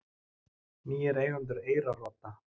Nýir eigendur Eyrarodda